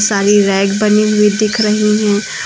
सारी रैक बनी हुई दिख रही हैं।